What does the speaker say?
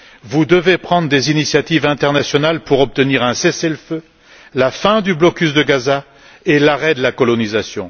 Vous devez prendre des initiatives internationales afin d'obtenir un cessez le feu, la fin du blocus de Gaza et l'arrêt de la colonisation.